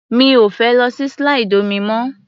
Mi ò fẹ́ lọ sí slide omi mọ́.